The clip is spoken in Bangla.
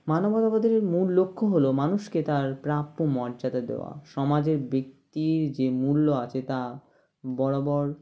মানবতাবাদের মূল লক্ষ্য হলো মানুষকে তার প্রাপ্য মর্যাদা দেওয়া সমাজের ব্যাক্তির যে মূল্য আছে তা বরাবর